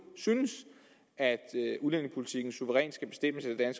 synes at udlændingepolitikken suverænt skal bestemmes af